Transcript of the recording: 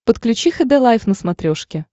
подключи хд лайф на смотрешке